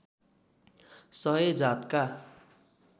सय जातका